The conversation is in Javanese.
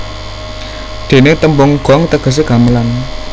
Dene tembung gong tegese gamelan